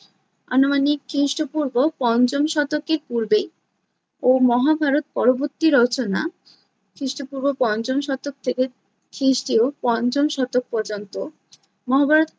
আনুমানিক খ্রিস্টপূর্ব পঞ্চম শতকের পূর্বে ও মহাভারত পরবর্তী রচনা খ্রিস্টপূর্ব পঞ্চম শতক থেকে খ্রিস্টীয় পঞ্চম শতক পর্যন্ত মহাভারত